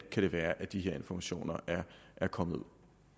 kan være at de her informationer er kommet ud